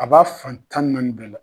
A b'a fan tan ni naani bɛɛ la.